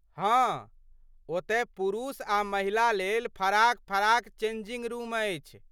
हाँ, ओतय पुरुष आ महिला लेल फराक फराक चेंजिंग रूम अछि।